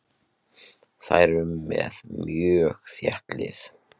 Þær eru með mjög þétt lið.